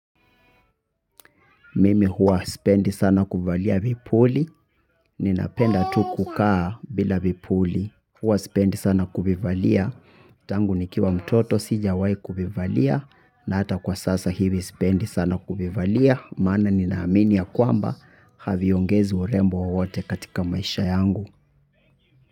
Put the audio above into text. Mimi huwa sipendi sana kuvalia vipuli. Ninapenda tu kukaa bila vipuli. Huwa sipendi sana kuvivalia. Tangu nikiwa mtoto sijawahi kuvivalia. Na hata kwa sasa hivi sipendi sana kuvivalia. Maana ninaamini ya kwamba haviongezi urembo wowote katika maisha yangu.